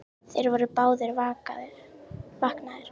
Þeir voru báðir vaknaðir.